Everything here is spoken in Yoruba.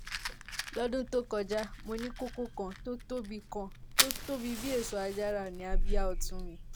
lọ́dún tó kọjá mo ní kókó kan tó tóbi kan tó tóbi bí èso àjàrà ní abíyá ọ̀tún mi